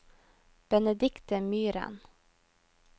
Benedicte Myhren